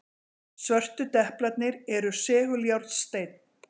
Svörtu deplarnir eru seguljárnsteinn.